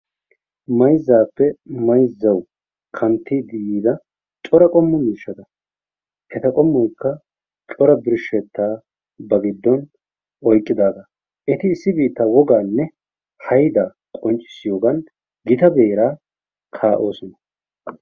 Mayzzaappe mayzzawu kanttiidi yiida cora qommo miishshata. Eta qommoykka cora birshshettaa ba giddon oyqidaagaa. Eti issi biittaa wogaanne hayddaa qonccisiyoogan gita beeraa ka"oosona.